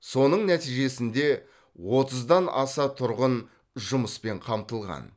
соның нәтижесінде отыздан аса тұрғын жұмыспен қамтылған